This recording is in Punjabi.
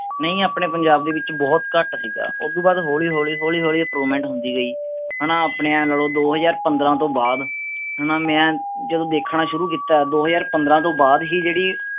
ਨਹੀਂ ਆਪਣੇ ਪੰਜਾਬ ਦੇ ਵਿਚ ਬਹੁਤ ਘਟ ਸੀਗਾ। ਉਸ ਤੋਂ ਬਾਅਦ ਹੌਲੀ ਹੌਲੀ ਹੌਲੀ ਹੌਲੀ improvement ਹੁੰਦੀ ਗਈ। ਹੈਨਾ ਆਪਣੇ ਏ ਲਾਲੋ ਦੋ ਹਜ਼ਾਰ ਪੰਦ੍ਰਹ ਤੋਂ ਬਾਅਦ ਹਣਾ ਮੈ ਜਦੋਂ ਦੇਖਣਾ ਸ਼ੁਰੂ ਕੀਤਾ ਹੈ, ਦੋ ਹਜ਼ਾਰ ਪੰਦ੍ਰਹ ਤੋਂ ਬਾਅਦ ਹੀ ਜਿਹੜੀ